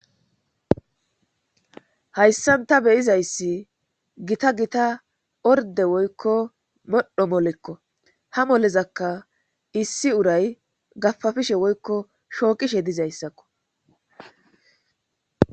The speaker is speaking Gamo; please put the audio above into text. Hayssan taa beyizayssi gita gita orde woykko modhdho molekko ha molezakka issi uray gafafishe woykko shooqishe dizayssakko